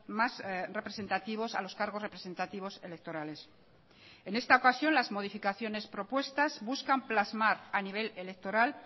más representativos a los cargos representativos electorales en esta ocasión las modificaciones propuestas buscan plasmar a nivel electoral